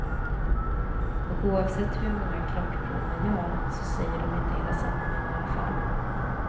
Och oavsett hur många krockprov man gör, så säger de inte hela sanningen i alla fall.